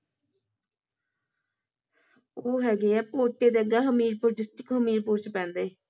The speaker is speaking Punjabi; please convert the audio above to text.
ਉਹ ਹੈਗੇ ਐ ਦੇ ਅੱਗੇ ਹਮੀਰਪੁਰ district ਹਮੀਰਪੁਰ ਵਿਚ ਪੈਂਦੇ